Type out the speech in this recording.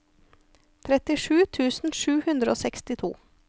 trettisju tusen sju hundre og sekstito